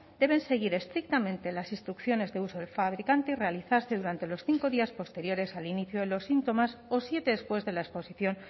deben seguir estrictamente las instrucciones de uso del fabricante y realizarse durante los cinco días posteriores al inicio de los síntomas o siete después de la exposición